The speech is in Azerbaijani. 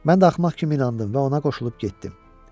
Mən də axmaq kimi inandım və ona qoşulub getdim.